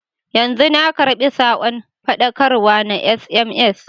Yanzu na karɓi sakon faɗakarwa ta sms.